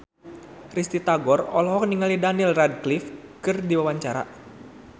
Risty Tagor olohok ningali Daniel Radcliffe keur diwawancara